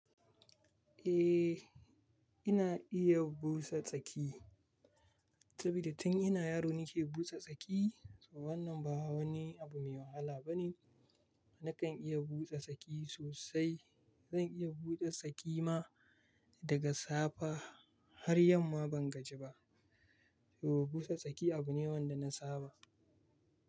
Eh, ina iya busa tsaki saboda tun ina yaro nake busa tsaki. So wannan ba wani abu mai wahala bane. Nakan iya busa tsaki sosai. Zan iya busa tsaki ma daga safe har yamma ban gaji ba. So busa tsaki abu ne wanda na saba.